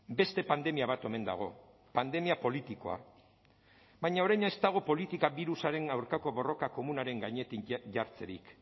beste pandemia bat omen dago pandemia politikoa baina orain ez dago politika birusaren aurkako borroka komunaren gainetik jartzerik